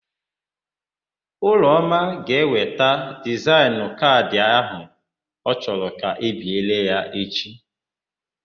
Ụlọma ga-eweta dizaịnụ kaadị ahia ọ chọrọ ka e biere ya echi.